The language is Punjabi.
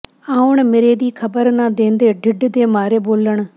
ਆਉਣ ਮਿਰੇ ਦੀ ਖ਼ਬਰ ਨਾਂ ਦੇਂਦੇ ਢਿੱਡ ਦੇ ਮਾਰੇ ਬੋਲਣ